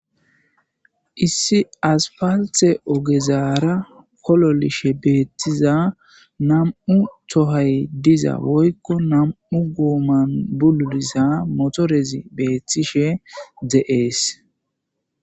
Issi as palthe ogezaara kololishe beettiza nam7u tohay diza woykko nam7u guoman bululisa motorezi beeththishe de7ees.